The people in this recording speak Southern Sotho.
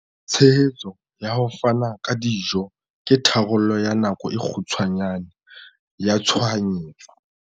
Tshehetso ya ho fana ka dijo ke tharollo ya nako e kgutshwane ya tshohanyetso.